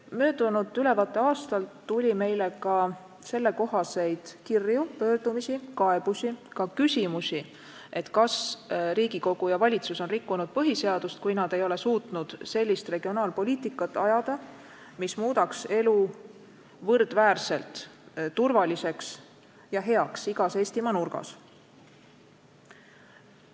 Möödunud ülevaateaastal tuli meile ka sellel teemal kirju, pöördumisi, kaebusi, ka küsimusi, kas Riigikogu ja valitsus on rikkunud põhiseadust, kui nad ei ole suutnud ajada sellist regionaalpoliitikat, mis muudaks elu võrdväärselt turvaliseks ja heaks igas Eestimaa nurgas.